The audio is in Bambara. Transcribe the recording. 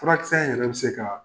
Furakisɛ in yɛrɛ bɛ se ka